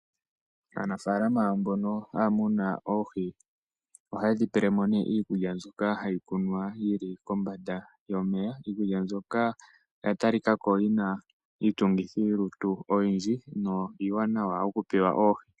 Aanafalama mbono ha ya muna oohi, oha yedhi pelemo iikulya mbyoka ha yi kunwa yili kombanda yomeya. Iikulya mbyoka oya talikako yina iitungithilutu oyindji na iiwanawa okupewa oohi.